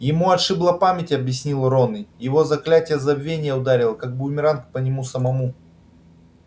ему отшибло память объяснил рон его заклятие забвения ударило как бумеранг по нему самому